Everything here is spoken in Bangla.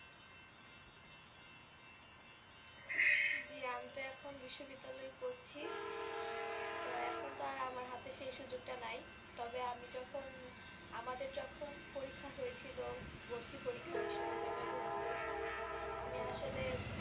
আমি তো এখন বিশ্ববিদ্যালয়ে পড়ছি তো এখন তো আর আমার হাতে সেই সুযোগটা নাই, তবে আমি যখন আমাদের যখন পরীক্ষা হয়েছিল, ভর্তি পরীক্ষা বিশ্ববিদ্যালয়ে ভর্তির পরীক্ষা আমি আসলে